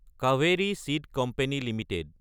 Kaveri seed company Ltd